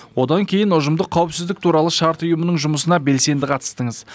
одан кейін ұжымдық қауыпсіздік туралы шарт ұйымның жұмысына белсенді қатыстыңыз